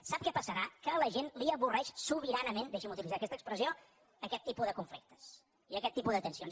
sap què passarà que a la gent l’avorreix sobi·ranament deixi’m utilitzar expressió aquest tipus de conflictes i aquest tipus de tensions